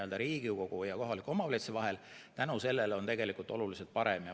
Side Riigikogu ja kohaliku omavalitsuse vahel on tänu sellele tegelikult oluliselt parem.